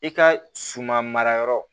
I ka suman marayɔrɔ